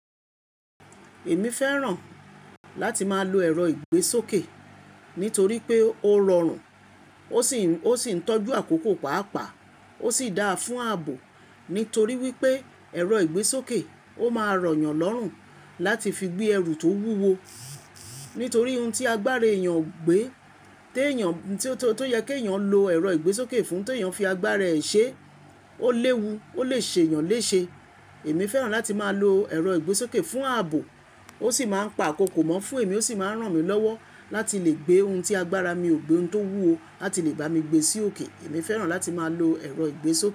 Èmi fẹ́ràn láti máa lo ẹ̀rọ ìgbésókè nítorí pé ó rọrùn, ó sì ń tọ́jú àkókò pàápàá, ó sì dáa fún ààbò. Nítorí wípé ẹ̀rọ ìgbésókè ó máa rọ̀ yàn lọ́rùn láti fi gbé ẹrù tó wúwo. Nítorí ohun tí agbára èèyàn ò gbé, tó yẹ kí èèyàn lo ẹ̀rọ ìgbésókè fún, tó ìyàn fi agbára ẹ ṣe, ó léwu, ó lè ṣe èèyàn léṣe. Èmi fẹ́ràn láti máa lo ẹ̀rọ ìgbésókè fún ààbò, ó sì máa ń pa akókò mó. Fún èmi ó sì máa ń ràn mí lọ́wọ́ láti lè gbé ohun tí agbára mi ò gbé, ohun tó wúwo láti lè bá mi gbé sí òkè. Èmi fẹ́ràn láti máa lo ẹ̀rọ ìgbésókè.